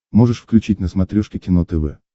можешь включить на смотрешке кино тв